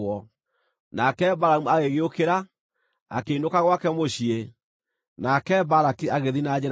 Nake Balamu agĩgĩũkĩra, akĩinũka gwake mũciĩ, nake Balaki agĩthiĩ na njĩra ciake.